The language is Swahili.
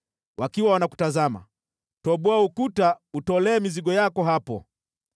Wakiwa wanakutazama, toboa ukuta utolee mizigo yako hapo.